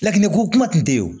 Lakiniko kuma tun tɛ yen o